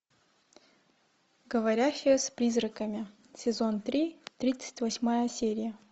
говорящая с призраками сезон три тридцать восьмая серия